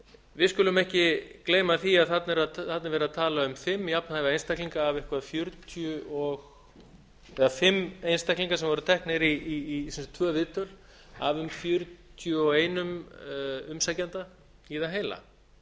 við skulum ekki gleyma því að þarna er verið að tala um fimm jafnhæfa einstaklinga eða fimm einstaklinga sem voru teknir í tvö viðtöl af um fjörutíu og einn umsækjanda í það heila